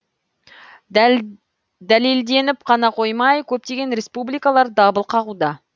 дәлелденіп қана қоймай көптеген республикалар дабыл қағуда